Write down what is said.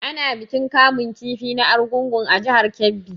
Ana bikin kamun kifi na argungu a jihar Kebbi.